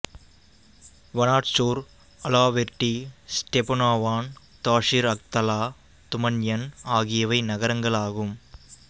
Vanadzor Alaverdi Stepanavan Tashir Akhtala Tumanyan ஆகியவை நகரங்களாகும்